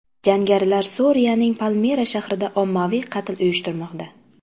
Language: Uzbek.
Jangarilar Suriyaning Palmira shahrida ommaviy qatl uyushtirmoqda.